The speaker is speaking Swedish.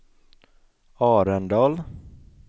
Arendal